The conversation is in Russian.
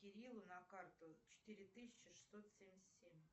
кириллу на карту четыре тысячи шестьсот семьдесят семь